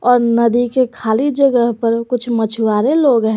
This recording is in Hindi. और नदी के खाली जगह पर कुछ मछुआरे लोग हैं।